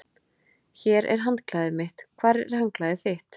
Hér er handklæðið mitt. Hvar er handklæðið þitt?